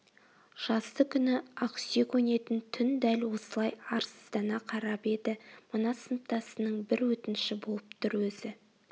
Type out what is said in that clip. жаздыгүні ақсүйек ойнайтын түн дәл осылай арсыздана қарап еді мына сыныптасынның бір өтініші болып тұр өзі